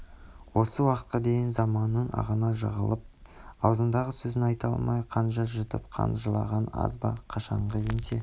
осы уақытқа дейін заманның ығына жығылып аузындағы сөзін айта алмай қанжар жұтып қан жылағаны аз ба қашанғы еңсе